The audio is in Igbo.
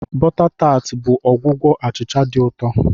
Bọta tart bụ ọgwụgwọ achịcha dị ụtọ.